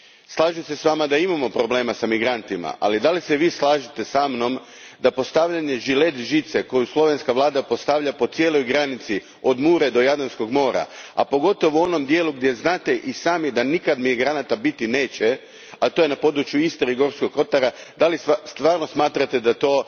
Slažem se s Vama da imamo problema s migrantima, ali da li se Vi slažete sa mnom da postavljanje žilet žice koju slovenska vlada postavlja po cijeloj granici, od Mure do Jadranskog mora, a pogotovo u onom dijelu gdje i sami znate da migranata nikad biti neće, a to je na području Istre i Gorskog Kotara, da li stvarno smatrate da je to